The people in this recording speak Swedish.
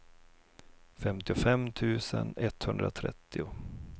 femtiofem tusen etthundratrettio